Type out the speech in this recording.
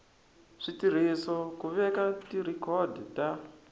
switirhiso ku veka tirhikhodo ta